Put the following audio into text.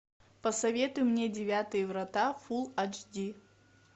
посоветуй мне девятые врата фул ач ди